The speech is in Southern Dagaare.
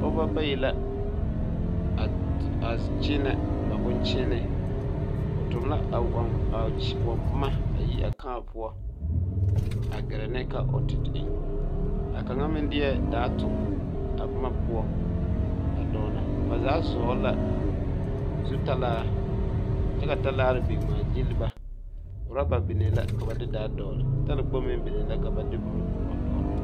Pɔɡeba bayi la a kyeenɛ ba boŋkyeene ba toɡi la ba nuuri a kãã poɔ a ɡɛrɛ ne ka o te eŋ a kaŋa meŋ deɛ daa a toɡi a boma poɔ a dɔɔnɔ ba zaa vɔɡele la zutalaa kyɛ ka talaare biŋ ŋmaaɡyili ba urɔba biŋee la ka ba de daa dɔɡele talakpoŋ meŋ biŋee la ka ba de boma vɔɡele.